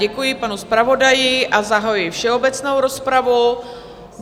Děkuji panu zpravodaji a zahajuji všeobecnou rozpravu.